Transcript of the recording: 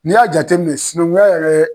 N'i y'a jateminɛ sinankunya yɛrɛ